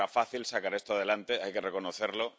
No era fácil sacar esto adelante, hay que reconocerlo.